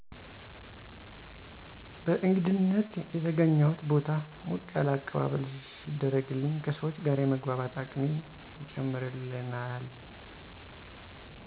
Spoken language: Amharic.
በእንግድነት የተገኘሁት ቦታ ሞቅ ያለ አቀባበል ሲደረግልኝ ከሰዎች ጋር የመግባባት አቅሜን ይጨምርልናል።